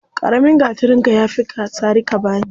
Ƙaramin gatarinka ya fi sari ka bani.